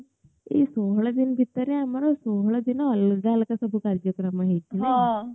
ଏଇ ଷୋହଳ ଦିନ ଭିତରେ ଆମର ଷୋହଳ ଦିନ ଅଲଗା ଅଲଗା ସବୁ କାଜ୍ୟକ୍ରମ ହେଇଥିଲା